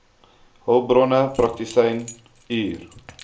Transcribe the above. hulpbronne praktisyn hr